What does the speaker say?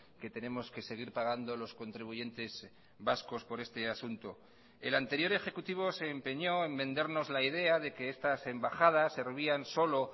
que tenemos que seguir pagando los contribuyentes vascos por este asunto el anterior ejecutivo se empeñó en vendernos la idea de que estas embajadas servían solo